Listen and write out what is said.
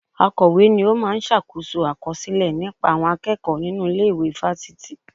Akọ̀we ni ó máa ń ṣàkóso àkọsílẹ̀ nípa àwọn akẹ́kọ̀ọ́ nínú ilé ìwé fáfitì